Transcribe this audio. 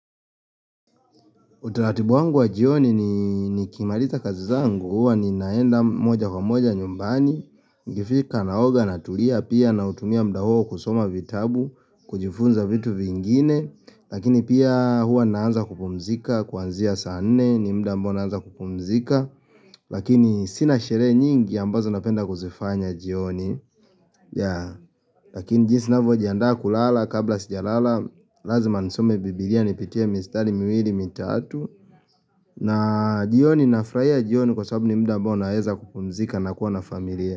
Utaratibu wangu wa jioni nikimaliza kazi zangu huwa ninaenda moja kwa moja nyumbani Nikifika naoga natulia pia nautumia muda huo kusoma vitabu kujifunza vitu vingine Lakini pia huwa naanza kupumzika kuanzia saa nne ni muda ambao naanza kupumzika Lakini sina sherehe nyingi ambazo napenda kuzifanya jioni Lakini jinsi ninavyojihandaa kulala kabla sijalala Lazima nisome bibiria nipitie mistari miwiri mitatu na jioni nafurahia jioni kwa sababu ni muda ambao naeza kupumzika na kuwa na familia.